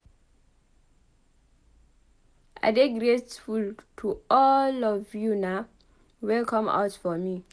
I dey grateful to all of una wey come out for me.